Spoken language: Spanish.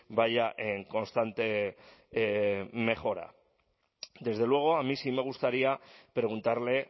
vaya en constante mejora desde luego a mí sí me gustaría preguntarle